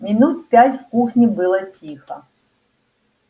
минут пять в кухне было тихо